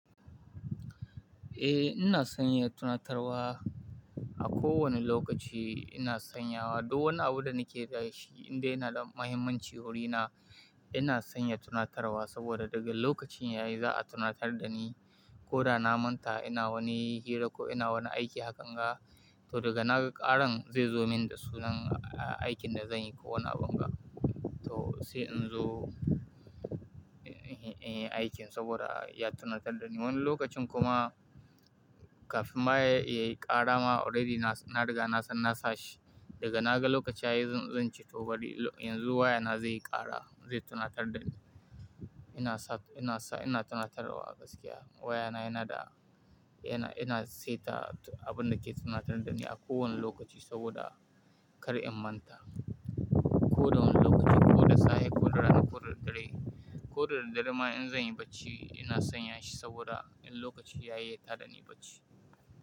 Eh, ina son yin tunatarwa a kowane lokaci ina sanyawa. Duk wani abu da nake da shi indai yana da muhimmanci wuri na ina son yin tunatarwa saboda daga lokacin yayi za a tunatar da ni ko da na manta ina wani hira ko ina wani aiki hakan ga. To daga na ga ƙaran zai zo min da sunan aikin da zan yi ko wani abin ga. To sai in zo in yi aikin saboda ya tunatar da ni. Wani lokacin kuma kafin ma ya ƙara ma already ina daga nasan nasa shi. Daga na ga lokacin yayi zan ce to bari yanzu wayana zai ƙara zai tunatar da ni. Ina tunatarwa gaskiya wayana yana da yana saita abin da ke tunatar da ni a kowane lokaci saboda kar in manta. Ko da wani lokaci ko da safe ko da rana ko dare ko da dare ma in zan yi bacci ina sanya shi saboda in lokacin yayi ya tada ni bacci.